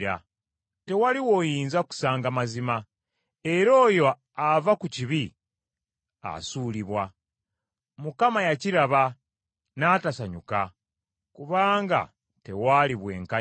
Tewali w’oyinza kusanga mazima, era oyo ava ku kibi asuulibwa. Mukama yakiraba n’atasanyuka kubanga tewaali bwenkanya.